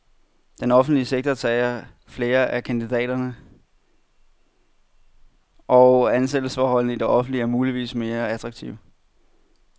Den offentlige sektor tager flere af kandidaterne, og ansættelsesforholdene i det offentlige er muligvis mere attraktive.